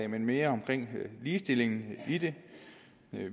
men mere det med ligestillingen i det